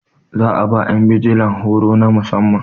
za a ba yan bijila horo na musamman